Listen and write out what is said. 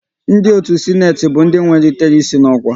Ndị otu Sịnate mahadum bụ ndị wenyitere ịsị n'okwa